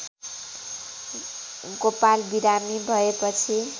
गोपाल बिरामी भएपछि